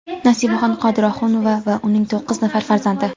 Nasibaxon Qodirohunova va uning to‘qqiz nafar farzandi.